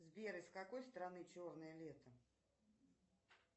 сбер из какой страны черное лето